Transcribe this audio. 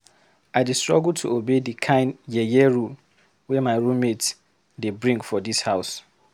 I dey struggle to obey di kind yeye rule wey my roommate dey bring for dis house.